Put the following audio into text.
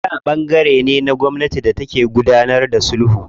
Shariʼa ɓangare ne na gwamnati da take gudanar da sulhu.